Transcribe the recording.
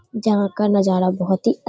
जहा का नज़ारा बोहोत ही अ --